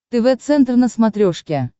тв центр на смотрешке